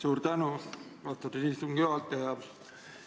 Suur tänu, austatud istungi juhataja!